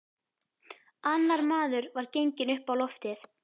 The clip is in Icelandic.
Annar maður var genginn upp á loftið.